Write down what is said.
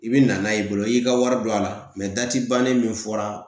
I bi na n'a ye i bolo i y'i ka wari don a la dati bannen min fɔra